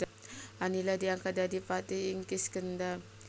Anila diangkat dadi patih ing Kiskendha